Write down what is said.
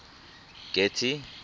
getty